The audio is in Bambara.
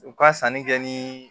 U ka sanni kɛ ni